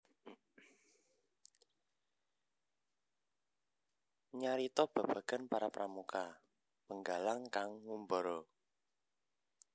Nyarita babagan para pramuka Penggalang kang ngumbara